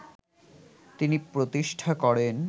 তিনি প্রতিষ্ঠা করেন